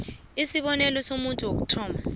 isibonelo somuntu wokuthoma